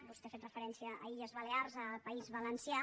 vostè ha fet referència a les illes balears i al país valencià